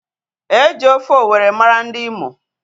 Eji ofe owerri mara ndi Imo.